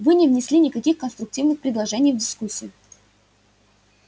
вы не внесли никаких конструктивных предложений в дискуссию